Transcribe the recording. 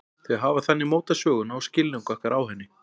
Þau hafa þannig mótað söguna og skilning okkar á henni.